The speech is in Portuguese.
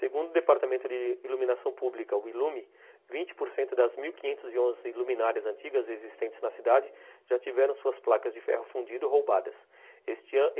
Segundo o Departamento de Iluminação Pública, o Ilume, vinte por cento das mil quinhentos e onze iluminarias antigas existentes na cidade já tiveram suas placas de ferro fundido roubadas.